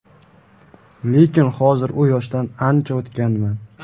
Lekin hozir u yoshdan ancha o‘tganman.